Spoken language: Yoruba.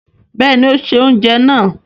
Bẹ́ẹ̀ni, ó se oúnjẹ náà.